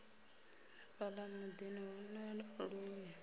fhala mudini hu na luvhi